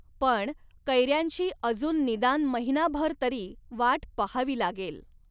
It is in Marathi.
पण कैऱ्यांची अजून निदान महिनाभर तरी वाट पहावी लागेल.